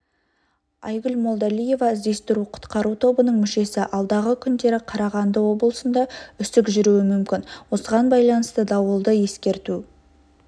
айгүл молдалиева іздестіру-құтқару тобының мүшесі алдағы күндері қарағанды облысында үсік жүруі мүмкін осыған байланысты дауылды ескерту